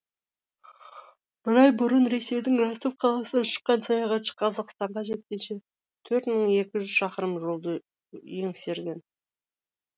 бір ай бұрын ресейдің ростов қаласынан шыққан саяхатшы қазақстанға жеткенше төрт мың екі жүз шақырым жолды еңсерген